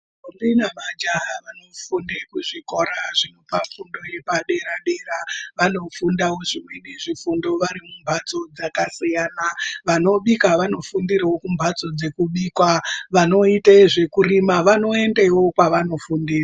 Ndombi nemajaha vanofunde kuzvikora zvinopa fundo yepadera-dera. Vanofundavo zvimweni zvifundo vari mumhatso dzakasiyana, vanobika vanofundiravo kumhatso dzekubikwa vanoite zvekurima vanoendevo kwavanofundira.